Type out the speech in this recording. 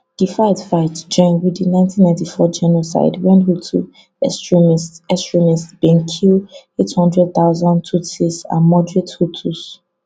di fightfight join wit di nineteen nighty four genocide wen hutu extremists extremists bin kill eight hundred thousand tutsis and moderate hutus